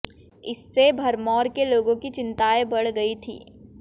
इससे भरमौर के लोगों की चिंताएं बढ़ गई थी